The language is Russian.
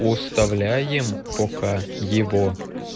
оставляем пока его